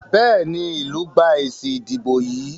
Béèni ilú gbà èsì ìdìbò yí.